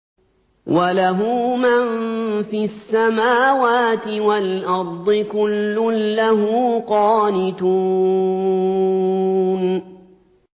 وَلَهُ مَن فِي السَّمَاوَاتِ وَالْأَرْضِ ۖ كُلٌّ لَّهُ قَانِتُونَ